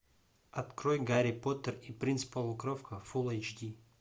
открой гарри поттер и принц полукровка фулл эйч ди